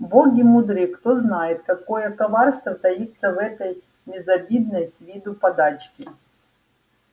боги мудры кто знает какое коварство таится в этой безобидной с виду подачке